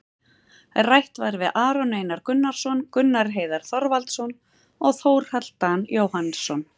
Rætt var við Aron Einar Gunnarsson, Gunnar Heiðar Þorvaldsson og Þórhall Dan Jóhannsson,